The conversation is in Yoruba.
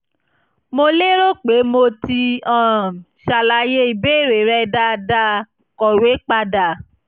mo lérò pé mo ti um ṣàlàyé ìbéèrè rẹ dáadáa; kọ̀wé padà